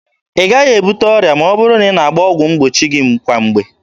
Ị gaghị ebute ọrịa ma ọ bụrụ na ị na-agba ọgwụ mgbochi gị kwa mgbe.